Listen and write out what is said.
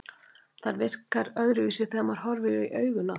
Og það virkar öðruvísi þegar maður horfir í augun á því.